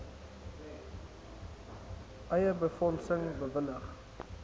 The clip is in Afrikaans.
eie befondsing bewillig